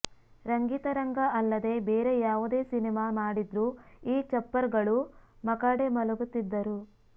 ರಂಗಿತರಂಗ ಅಲ್ಲದೇ ಬೇರೆ ಯಾವುದೇ ಸಿನಿಮಾ ಮಾಡಿದ್ರೂ ಈ ಚಪ್ಪರ್ಗಳು ಮಕಾಡೆ ಮಲಗುತ್ತಿದ್ದರು